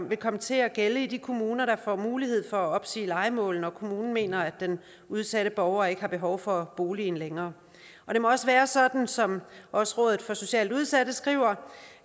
vil komme til at gælde i de kommuner der får mulighed for at opsige lejemål når kommunen mener at den udsatte borger ikke har behov for boligen længere det må også være sådan som også rådet for socialt udsatte skriver